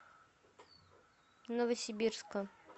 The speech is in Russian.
новосибирска